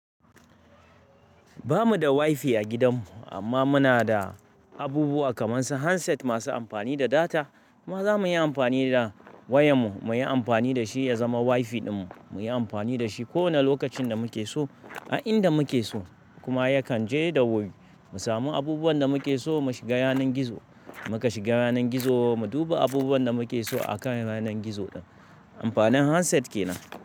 Ba mu da wifi a gidan mu amma muna da abubuwa kamar su handset masu amfani da data. Maza muyi amfani da wayan mu, muyi amfani da shi ya zama wifi din mu, muyi amfani da shi kowane lokacin da muke so, a inda muke so kuma yakan je da wuri. Mu samu abubuwan da muke so, mu shiga yanar gizo, muka shiga yanar gizo, mu duba abubuwan da muke so a kan yanar gizo din. Amfanin handset ke nan.